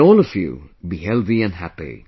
May all of you be healthy and happy